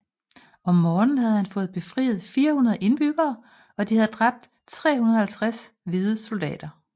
Om morgenen havde han fået befriet 400 indbyggere og de havde dræbt 350 hvide soldater